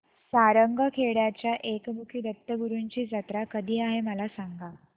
सारंगखेड्याच्या एकमुखी दत्तगुरूंची जत्रा कधी आहे मला सांगा